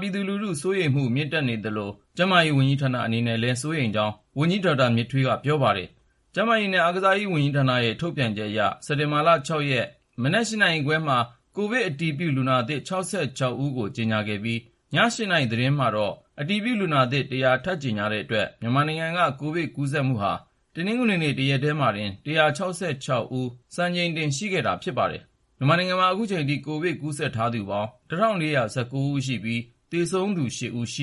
ပြည်သူလူထုကြား စိုးရိမ်မှု မြင့်တက်နေသလို ကျန်းမာရေးဝန်ကြီးဌာန အနေနဲ့လည်း စိုးရိမ်ကြောင်း ဝန်ကြီး ဒေါက်တာ မြင့်ထွေးက ပြောပါတယ်။ ကျန်းမာရေးနဲ့ အားကစားရေးဝန်ကြီးဌာနရဲ့ ထုတ်ပြန်ချက်အရ စက်တင်ဘာ ၆ ရက် မနက် ၈ နာရီခွဲမှာ ကိုဗစ်အတည်ပြုလူနာသစ် ၆၆ ဦးကို ကြေညာခဲ့ပြီး ည ၈ နာရီသတင်းမှာ အတည်ပြုလူနာသစ် ၁၀၀ ထပ်ကြေညာတဲ့အတွက် မြန်မာနိုင်ငံက ကိုဗစ်ကူးစက်မှုဟာ တနင်္ဂနွေနေ့ တရက်တည်းမှာတင် ၁၆၆ ယောက် စံချိန်တင် ရှိခဲ့တာ ဖြစ်ပါတယ်။ မြန်မာနိုင်ငံမှာ အခုအချိန်ထိ COVID-19 ကူးစက်ထားသူပေါင်း တနင်္ဂနွေညထိ စာရင်းအရ ၁,၄၁၉ ဦးရှိပြီး သေဆုံးသူ ၈ ဦးရှိ